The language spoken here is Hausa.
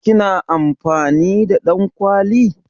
Ki na amfani da ɗankwali?